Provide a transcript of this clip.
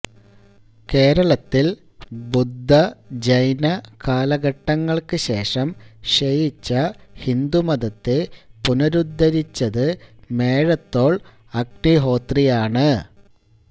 കേരളത്തിൽ ബുദ്ധജൈന കാലഘട്ടങ്ങൾക്കു ശേഷം ക്ഷയിച്ച ഹിന്ദുമതത്തെ പുനരുദ്ധരിച്ചത് മേഴത്തോൾ അഗ്നിഹോത്രിയാണ്